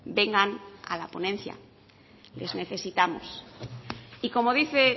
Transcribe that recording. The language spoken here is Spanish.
vengan a la ponencia les necesitamos y como dice